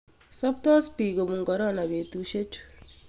Saptos piik kopun korona petusye chu.